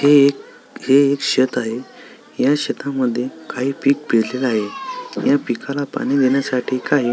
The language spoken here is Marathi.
हे एक हे एक शेत आहे या शेता मध्ये काही पीक पेरलेल आहे या पिकाला पाणी देण्या साठी काही--